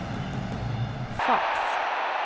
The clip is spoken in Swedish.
fax